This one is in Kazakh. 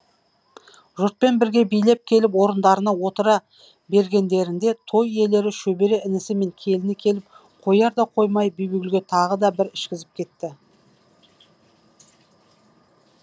жұртпен бірге билеп келіп орындарына отыра бергендерінде той иелері шөбере інісі мен келіні келіп қоярда қоймай бибігүлге тағы да бір ішкізіп кетті